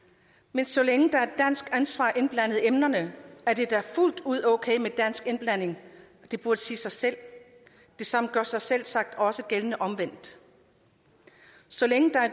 men så længe der er dansk ansvar indblandet i emnerne er det da fuldt ud okay med dansk indblanding det burde sige sig selv det samme gør sig så selvsagt også gældende omvendt så længe der er